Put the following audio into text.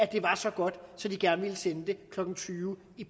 det var så godt at de gerne ville sende det klokken tyve